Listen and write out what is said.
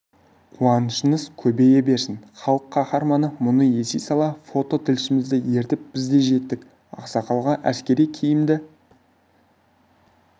қуанышыңыз көбейе берсін халық қаһарманы мұны ести сала фото тілшімізді ертіп бізде жеттік ақсақалға әскери киімді